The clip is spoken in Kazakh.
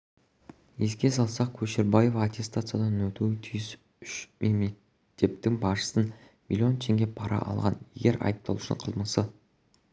еске салсақ көшербаев аттестациядан өтуі тиіс үш мектептің басшысынан млн теңге пара алған егер айыпталушының қылмысы